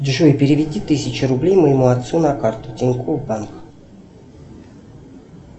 джой переведи тысячу рублей моему отцу на карту тинькофф банк